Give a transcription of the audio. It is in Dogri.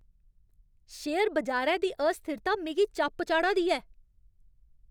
शेयर बजारै दी अस्थिरता मिगी चप चाढ़ा दी ऐ!